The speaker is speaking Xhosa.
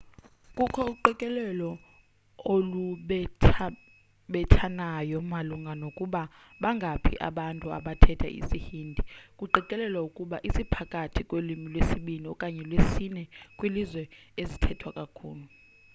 kukho uqikelelo olubethabethanayo malunga nokuba bangaphi abantu abathetha isi-hindi kuqikelelwa ukuba siphakathi kwelwimi lwesibini okanye lwesine kwiilwimi ezithethwa kakhulu